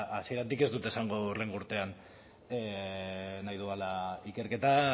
hasieratik ez dut esango hurrengo urtean nahi dudala ikerketa